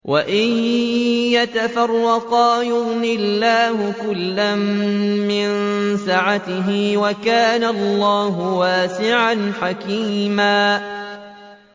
وَإِن يَتَفَرَّقَا يُغْنِ اللَّهُ كُلًّا مِّن سَعَتِهِ ۚ وَكَانَ اللَّهُ وَاسِعًا حَكِيمًا